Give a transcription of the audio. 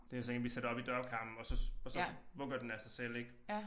Det er sådan en vi sætter op i dørkarmen og så og så vugger den af sig selv ik